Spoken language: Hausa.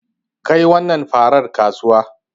Kai wannan farar kasuwa.